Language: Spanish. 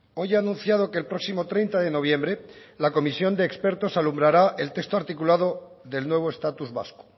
hoy ha anunciado que el próximo treinta de noviembre la comisión de expertos alumbrará el texto articulado del nuevo estatus vasco